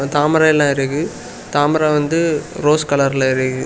தாமரை எல்லாம் இருக்கு. தாமரை வந்து ரோஸ் கலர்ல இருக்கு.